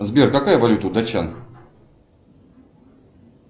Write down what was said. сбер какая валюта у датчан